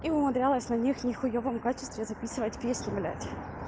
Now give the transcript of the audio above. и умудрялась на них не хуевом качестве записывать песню блять